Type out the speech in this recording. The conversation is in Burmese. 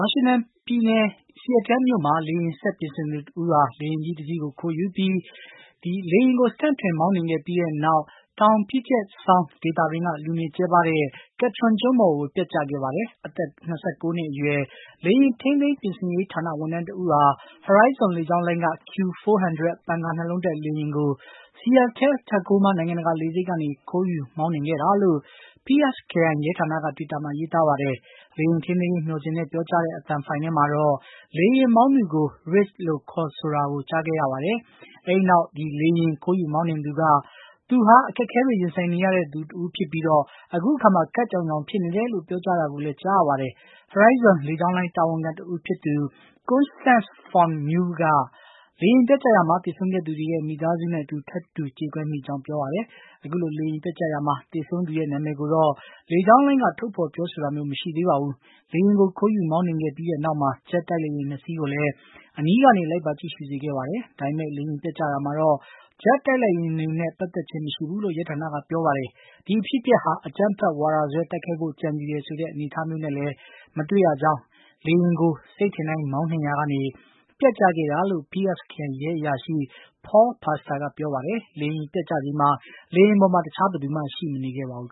ါရှင်တန်ပြည်နယ် Seattle မြို့မှာ လေယာဉ်စက်ပြင်တဦးဟာ လေယာဉ်တစီးကို ခိုးယူပြီး လေယာဉ်ကို စတန့်ထွင် မောင်းနှင်ခဲ့ပြီးနောက် တောင် Puget Sound ဒေသတွင်းက လူနေကြဲပါးတဲ့ Ketron ကျွန်းပေါ် ပျက်ကျခဲ့ပါတယ်။ အသက် ၂၉ နှစ်အရွယ် လေယာဉ်ထိန်းသိမ်းပြင်ဆင်ရေးဌာန ဝန်ထမ်းတဦးဟာ Horizon လေကြောင်းလိုင်းက Q400 ပန်ကာ ၂ လုံးတပ် လေယာဉ်ကို Seattle Tacoma နိုင်ငံ တကာ လေဆိပ်ကနေ ခိုးယူမောင်းနှင်ခဲ့တာလို့ Pierce ခရိုင် ရဲဌာနက တွိတာမှာ ရေးသားပါတယ်။ လေယာဉ်ထိန်းသိမ်းရေးမျှော်စင်နဲ့ ပြောကြားတဲ့ အသံဖိုင် ထဲမှာတော့ လေယာဉ်မောင်းသူကို Rich ဆိုပြီး ခေါ်ဆိုတာကို ကြားခဲ့ရပါတယ်။ အဲဒီနောက် လေယာဉ်မောင်း သူက သူဟာ အခက်အခဲတွေရင်ဆိုင်နေရသူတဦးဖြစ်ပြီး ခပ်ကြောင်ကြောင်ဖြစ်နေတယ်လို့ ပြောကြား တာကို လည်း ကြားကြရပါတယ်။ Horizon လေကြောင်းလိုင်း တာဝန်ခံတဦးဖြစ်သူ Constance vo Muehlen က လေယာဉ် ပျက်ကျရာမှာ သေဆုံးခဲ့သူရဲ့ မိသားစုနဲ့အတူ ထပ်တူကြေကွဲမိပါတယ်လို့ ပြောပါတယ်။ အခုလို လေယာဉ်ပျက်ကျရာမှာ သေဆုံးသူရဲ့နာမည်ကိုတော့ လေကြောင်းလိုင်းက ထုတ်ဖေါ်ပြောဆိုတာမျိုး မရှိသေးပါဘူး။ လေယာဉ်ကို ခိုးယူမောင်းနှင်ခဲ့ပြီးနောက်မှာ ဂျက်တိုက်လေယာဉ် ၂ စီးကိုလည်း အနီး ကနေ လိုက်ပါ ကြည့်ရှု စေခဲ့ပါတယ်။ ဒါပေမယ့်လည်း လေယာဉ်ပျက်ကျ တာမှာတော့ ဂျက်တိုက်လေယာဉ်တွေနဲ့ ပတ်သက်ခြင်း မရှိဘူးလို့ ရဲဌာနကပြောပါတယ်။ ဒီအဖြစ်အပျက်ဟာ အကြမ်းဖက်ဝါဒစွဲ တိုက်ခိုက်ဖို့ ကြံစည်တယ်ဆိုတဲ့ အနေအထား မျိုးလည်း မတွေ့ရကြောင်းနဲ့ လေယာဉ်ကို စိတ်ထင်တိုင်းမောင်းရာကနေ ပျက်ကျခဲ့တာလို့ Pierce ခရိုင် ရဲအရာရှိ Paul Pastor က ပြောပါတယ်။ လေယာဉ်ပျက်ကျချိန်မှာ လေယာဉ်ပေါ်မှာ တခြားဘယ်သူမှ ရှိမနေခဲ့ပါဘူး